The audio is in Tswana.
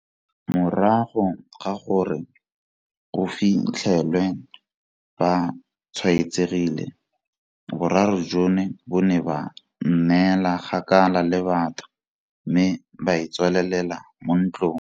Morago ga gore go fi tlhelwe ba tshwaetsegile, boraro jono bo ne ba nnela kgakala le batho mme ba itswalela mo ntlong.